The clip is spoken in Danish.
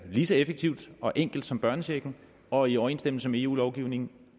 lige så effektivt og enkelt som børnechecken og i overensstemmelse med eu lovgivningen